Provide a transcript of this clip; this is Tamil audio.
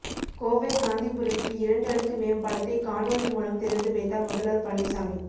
கோவை காந்திபுரத்தில் இரண்டு அடுக்கு மேம்பாலத்தை காணொளி மூலம் திறந்து வைத்தார் முதல்வர் பழனிசாமி